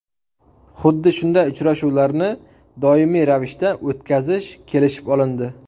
Xuddi shunday uchrashuvlarni doimiy ravishda o‘tkazish kelishib olindi.